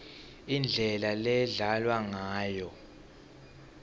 indlela ledlalwa ngayo